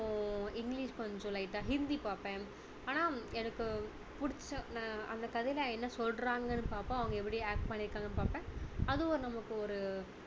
english கொஞ்சம் light டா ஹிந்தி பார்ப்பேன் ஆனா எனக்கு பிடிச்ச நான் அந்த கதையில என்ன சொல்றாங்கன்னு பார்ப்பேன் அவங்க எப்படி act பண்ணிருக்காங்கன்னு பார்ப்பேன் அதுவும் நமக்கு ஒரு